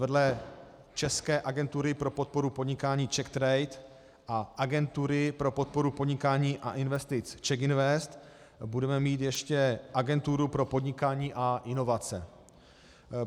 Vedle české agentury pro podporu podnikání CzechTrade a agentury pro podporu podnikání a investice CzechInvest budeme mít ještě Agenturu pro podnikání a inovace.